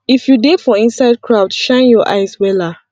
if you dey for inside crowd shine your eyes wella